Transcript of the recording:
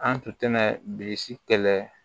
An tun bɛ bilisi kɛlɛ